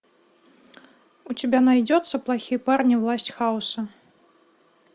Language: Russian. у тебя найдется плохие парни власть хаоса